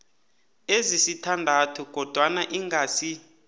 ezisithandathu kodwana ingasi